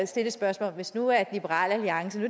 stille spørgsmålet hvis nu man sagde at liberal alliance og